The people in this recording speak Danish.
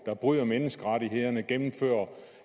der bryder menneskerettighederne gennemfører